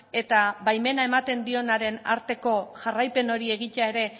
eta baimena ematen dionaren arteko jarraipen hori egitea ere